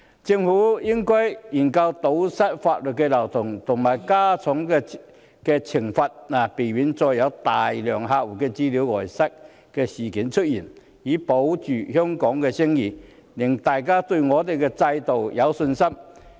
政府應研究堵塞法律漏洞及加重刑罰，避免再有大量客戶資料外泄的事件出現，以保住香港的聲譽，令大家對香港的制度有信心。